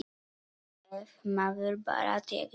Ef maður bara tekur á.